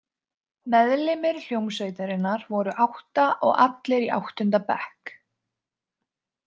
Meðlimir hljómsveitarinnar voru átta og allir í áttunda bekk.